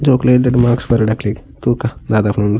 ಜೋಕುಲೆಗ್ ಎಡ್ಡೆಡ್ಡೆ ಮಾರ್ಕ್ಸ್ ಬರಡ್ ಅಕ್ಲೆಗ್ ತೂಕ ದಾದಾಪುಂಡುಂದು.